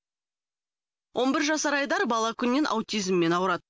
он бір жасар айдар бала күннен аутизммен ауырады